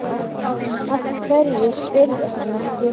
Af hverju spyrðu hann ekki?